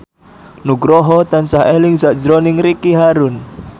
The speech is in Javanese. Nugroho tansah eling sakjroning Ricky Harun